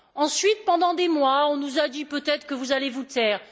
Ensuite, pendant des mois, on nous a dit Peut être que vous allez vous taire.